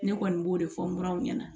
Ne kɔni b'o de fɔ muraw ɲɛna